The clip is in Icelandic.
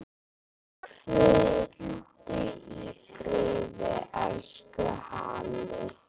Hvíldu í friði, elsku Halli.